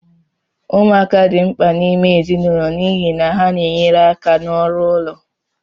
Ụmụaka dị mkpa n'ime ezinụlọ n'ihi na ha na-enyere aka n'ọrụ ụlọ